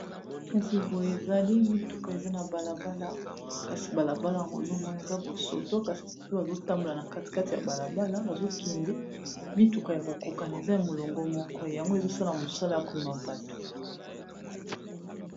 Kasi boye ezali mituka eza na bala bala kasi bala bala yango ozo mona eza bosoto, kasi ba pe bazo tambola na kati kati ya bala bala bazo kende mituka ya ko kokana eza molongo moko yango ezo sala mosala ya komema bato.